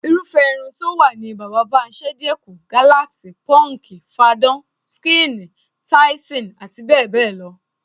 Irúfé̩ irun tó wà ni bàbá-bá-mi-s̩é̩-e̩-kù, gáláàsì, pó̩ǹkì, fadán/skíìnì, táísìn, abbl.